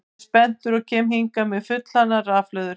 Ég er spenntur og kem hingað með fullhlaðnar rafhlöður.